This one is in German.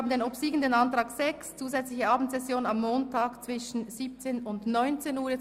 – Der Ordnungsantrag 6 auf Durchführung einer zusätzlichen Abendsession am Montag, von 17.00 bis 19.00 Uhr, hat obsiegt.